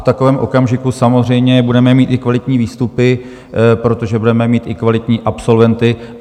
V takovém okamžiku samozřejmě budeme mít i kvalitní výstupy, protože budeme mít i kvalitní absolventy.